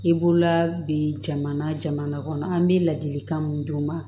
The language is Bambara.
I bolola bi jamana jamana kɔnɔ an bɛ ladilikan mun d'u ma